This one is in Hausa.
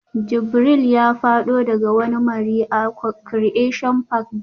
Jibril ya fado daga wani mari a Creation park jiya